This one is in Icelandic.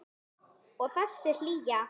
Og þessi hlýja.